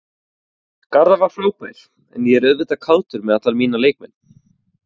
Garðar var frábær en ég er auðvitað kátur með alla mína leikmenn.